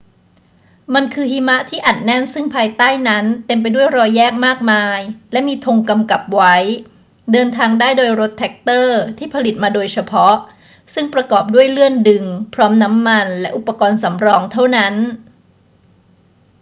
มันคือหิมะที่อัดแน่นซึ่งภายใต้นั้นเต็มไปด้วยรอยแยกมากมายและมีธงกำกับไว้ เดินทางได้โดยรถแทรกเตอร์ที่ผลิตมาโดยเฉพาะซึ่งประกอบด้วยเลื่อนดึงพร้อมน้ำมันและอุปกรณ์สำรองเท่านั้น